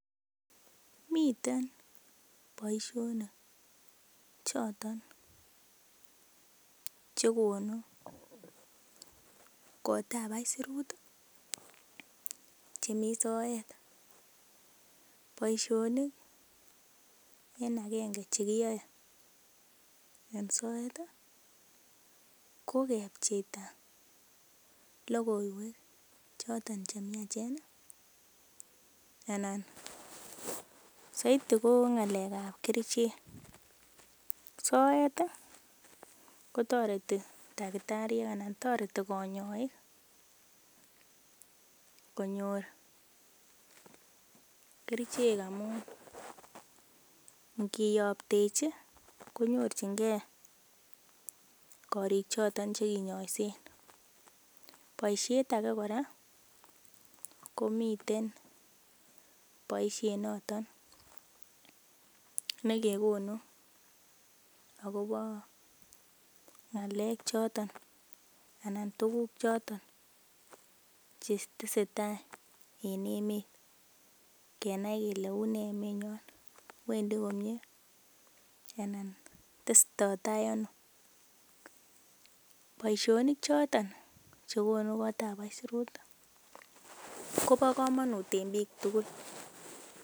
Miten boishonik choton chekonu koot ap aisurut chemi soet boishonik en akenge chekiyoei en soet ko kepcheita lokoiwek chotok chemiachen anan saidi ko ngalek ap kerichek soet kotoreti dakitariek anan toreti konyoik konyor kerichek amun ngiyoptechi konyorchingei korik choton chekenyoishen boishet ake kora komiten boishet noton nekekonu akobo ng'alek choton anan tukuk choton chetesetai eng emet kenai kele une emenywan wendi komie anan tesotoi tai ano boishonik choton chekonu koot ap aisurut Kobo komonut eng biik tugul.